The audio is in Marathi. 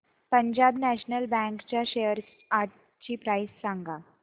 पंजाब नॅशनल बँक च्या शेअर्स आजची प्राइस सांगा